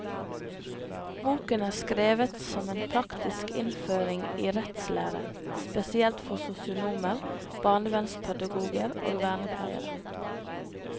Boken er skrevet som en praktisk innføring i rettslære spesielt for sosionomer, barnevernspedagoger og vernepleiere.